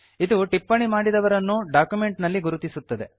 ಇದು ಟಿಪ್ಪಣಿ ಮಾಡಿದವರನ್ನು ಡಾಕ್ಯುಮೆಂಟ್ ನಲ್ಲಿ ಗುರುತಿಸುತ್ತದೆ